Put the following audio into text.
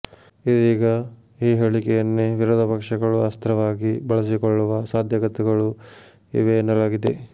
ಇದೀಗ ಈ ಹೇಳಿಕೆಯನ್ನೇ ವಿರೋಧ ಪಕ್ಷಗಳು ಅಸ್ತ್ರವಾಗಿ ಬಳಸಿಕೊಳ್ಳುವ ಸಾಧ್ಯತೆಗಳೂ ಇವೆ ಎನ್ನಲಾಗಿದೆ